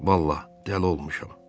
Vallahi, dəli olmuşam.